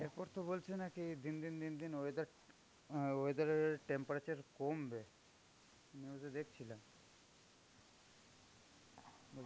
এরপর তো বলছে নাকি দিন দিন দিন দিন weather, weather এর temperature কমবে, news এ দেখছিলাম.